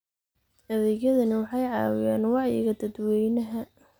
Adeegyadani waxay caawiyaan wacyiga dadweynaha.